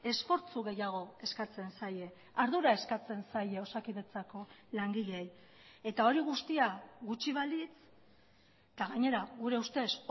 esfortzu gehiago eskatzen zaie ardura eskatzen zaie osakidetzako langileei eta hori guztia gutxi balitz eta gainera gure ustez